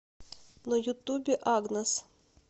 на ютубе агнес